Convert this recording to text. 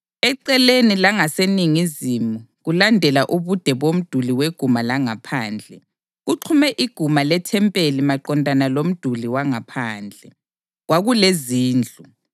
Eceleni langaseningizimu kulandela ubude bomduli weguma langaphandle, kuxhume iguma lethempeli maqondana lomduli wangaphandle, kwakulezindlu